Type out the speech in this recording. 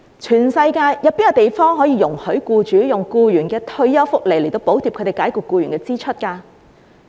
全世界有哪個地方容許僱主用僱員的退休福利來補貼他們解僱僱員的支出？